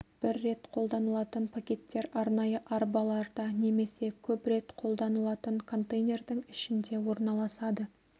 бір рет қолданылатын пакеттер арнайы арбаларда немесе көп рет қолданылатын контейнердің ішінде орналасады